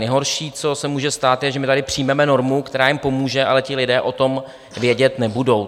Nejhorší, co se může stát, je, že my tady přijmeme normu, která jim pomůže, ale ti lidé o tom vědět nebudou.